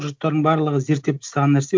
жұрттардың барлығы зерттеп тастаған нәрсе